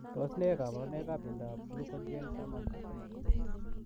Tos nee kabarunaik ap miondoop glcogen taman ak somok ?